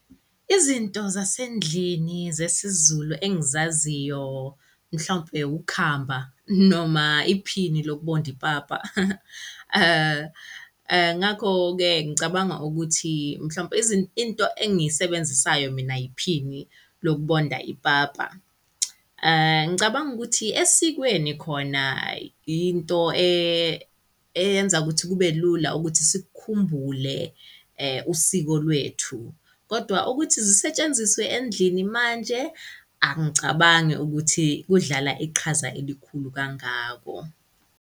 Izinto zasendlini zesiZulu engizaziyo, mhlawumpe ukhamba noma iphini lokubonda ipapa. Ngakho-ke ngicabanga ukuthi mhlawumpe into engiyisebenzisayo mina iphini lokubonda ipapa. Ngicabanga ukuthi esikweni khona yinto eyenza ukuthi kube lula ukuthi sikhumbule usiko lwethu, kodwa ukuthi zisetshenziswe endlini manje, angicabangi ukuthi kudlala iqhaza elikhulu kangako.